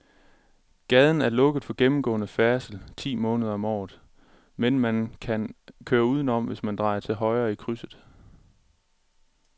Gaden er lukket for gennemgående færdsel ti måneder om året, men man kan køre udenom, hvis man drejer til højre i krydset.